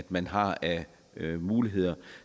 man har af muligheder